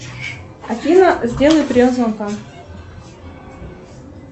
афина сделай прием звонка